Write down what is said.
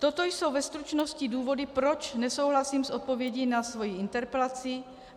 Toto jsou ve stručnosti důvody, proč nesouhlasím s odpovědí na svoji interpelaci.